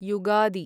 Yugadi